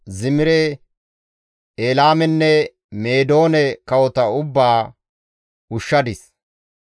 Zimire, Elaamenne Meedoone kawota ubbaa ushshadis.